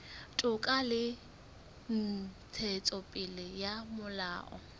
toka le ntshetsopele ya molao